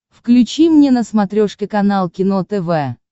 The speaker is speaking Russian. включи мне на смотрешке канал кино тв